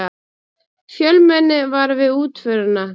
Fjölmenni var við útförina